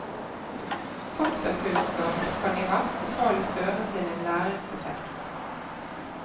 Faktakunnskap kan i verste fall føre til en læringseffekt.